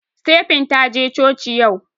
Stephen taje coci yau